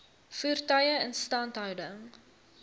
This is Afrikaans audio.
voertuie instandhouding